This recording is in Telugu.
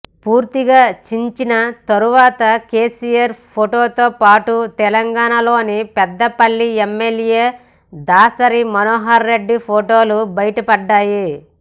పూర్తిగా చించిన తర్వాత కేసీఆర్ ఫొటోతో పాటు తెలంగాణలోని పెద్దపల్లి ఎమ్మెల్యే దాసరి మనోహర్ రెడ్డి ఫొటోలు బయటపడ్డాయి